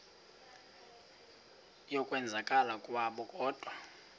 yokwenzakala kwabo kodwa